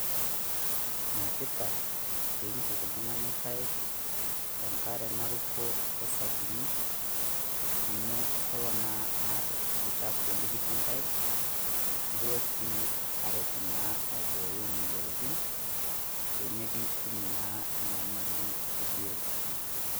Ene tipat pee entuk oltung'ani enkaik te nk'are naruku osabuni amu kelo naa Ina aar olchafu likitii enkaik, nekilo sii aret aibooyo imoyiaritin peemitum naa enyamali ebiotisho.